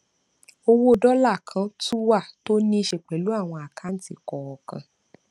owó dọlà kan tún wà tó níí ṣe pẹlú àwọn àkáǹtì kọọkan